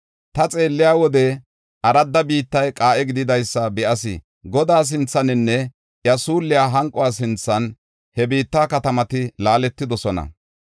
Ta xeelliya wode aradda biittay qaa7e gididaysa be7as. Godaa sinthaninne iya suulliya hanquwa sinthan he biitta katamati laaletidosona.